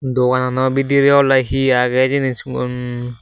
doganano bidire ole he age hijeni sigun.